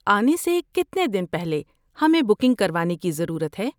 آنے سے کتنے دن پہلے ہمیں بکنگ کروانے کی ضرورت ہے؟